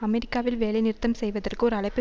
அமெரிக்காவில் வேலை நிறுத்தம் செய்வதற்கு ஒரு அழைப்பு